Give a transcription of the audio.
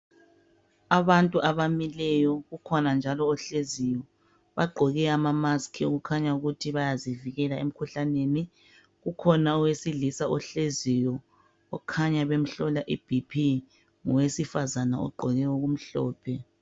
Abantu abamileyo kukhona njalo ohle ziyo. Bagqoke amamasikhi kukhanya ukuthi bayazivikela emikhuhlaneni. Kukhona owesilisa ohleziyo kukhanya bemhlola I 'BP' ngowesifazane ogqoke okumhlophe.